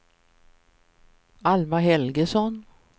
Alma Helgesson